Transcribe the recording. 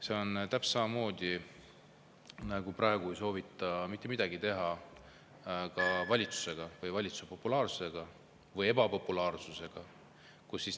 See on täpselt samamoodi, nagu praegu ei soovita mitte midagi teha ka selle peale, et valitsus on väga ebapopulaarne.